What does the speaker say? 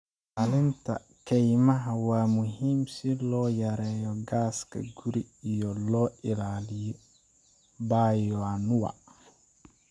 Ilaalinta kaymaha waa muhiim si loo yareeyo gaaska guri iyo loo ilaaliyo bioanuwa.